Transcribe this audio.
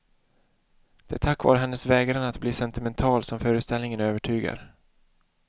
Det är tack vare hennes vägran att bli sentimental som föreställningen övertygar.